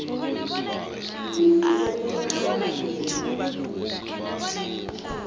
kufuze bona abhadale